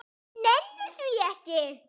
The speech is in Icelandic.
Nenni því ekki.